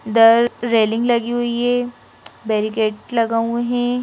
The railing लगी हुई है बेरीकेट लगा हुए हैं।